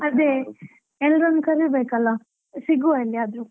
ಅದೇ, ಎಲ್ಲರನ್ನು ಕರಿಬೇಕಲ್ಲ ಸಿಗುವಾ ಎಲ್ಲಿಯಾದ್ರೂ.